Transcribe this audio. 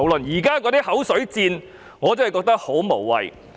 現在的口水戰，我真的覺得十分無謂。